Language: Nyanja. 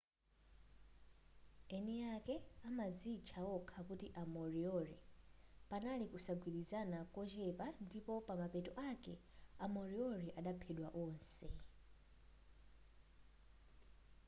eni ake amadzitcha okha kuti a moriori panali kusagwirizana kochepa ndipo pa mapeto ake a moriori adaphedwa wonse